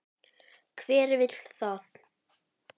Hver vill það?